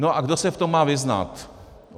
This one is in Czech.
No a kdo se v tom má vyznat?